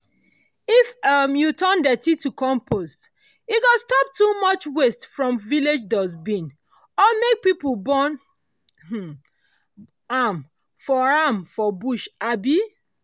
if um you turn to compost e go stop too much waste from village dustbin or make people burn um am for am for bush um